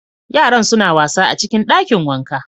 Yaran suna wasa a cikin dakin wanka